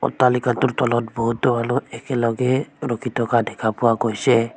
অট্টালিকাটোৰ তলত বহুত ধৰণৰ একেলগে ৰখি থকা দেখা পোৱা গৈছে।